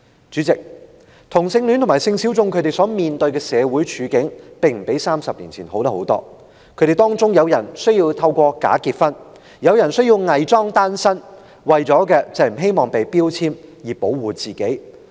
主席，同性戀者和性小眾所面對的處境，其實並不比30年前好了多少，當中有人需要假結婚或偽裝單身，目的是希望保護自己不被人標籤。